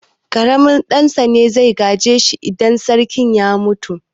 Ƙaramin ɗan sa ne zai gaje shi idan sarki ya mutu.